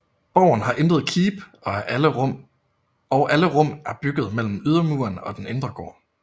Borgen har intet keep og alle rum er bygget mellem ydermuren og den indre gård